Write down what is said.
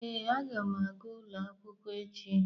Ee, a ga m aga ụlọ akwụkwọ echi.